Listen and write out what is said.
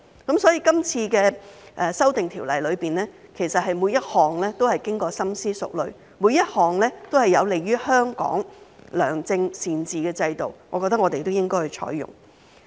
今次的《條例草案》提出的修訂，其實每一項都是經過深思熟慮，每一項都是有利於香港良政善治的制度，我覺得我們都應該採用。